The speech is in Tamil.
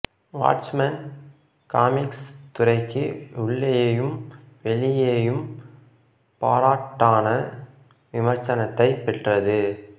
வாட்ச்மென் காமிக்ஸ் துறைக்கு உள்ளேயும் வெளியேயும் பாராட்டான விமர்சனத்தைப் பெற்றது